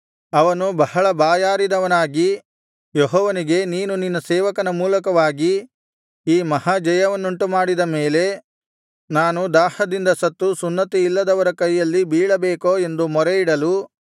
ಅವನು ಬಹಳ ಬಾಯಾರಿದವನಾಗಿ ಯೆಹೋವನಿಗೆ ನೀನು ನಿನ್ನ ಸೇವಕನ ಮೂಲಕವಾಗಿ ಈ ಮಹಾಜಯವನ್ನುಂಟುಮಾಡಿದ ಮೇಲೆ ನಾನು ದಾಹದಿಂದ ಸತ್ತು ಸುನ್ನತಿಯಿಲ್ಲದವರ ಕೈಯಲ್ಲಿ ಬೀಳಬೇಕೋ ಎಂದು ಮೊರೆಯಿಡಲು